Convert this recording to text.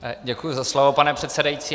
Děkuji za slovo, pane předsedající.